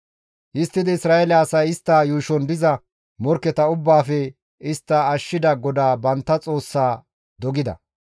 Histtidi Isra7eele asay istta yuushon diza morkketa ubbaafe istta ashshida GODAA bantta Xoossaa dogida.